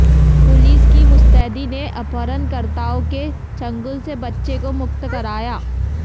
police की मुस्तैदी ने अपहरणकर्ताओं के चंगुल से बच्चे को मुक्त कराया